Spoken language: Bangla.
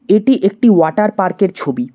এটি একটি ওয়াটার পার্ক -এর ছবি।